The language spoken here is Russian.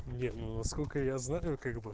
нет ну насколько я знаю как бы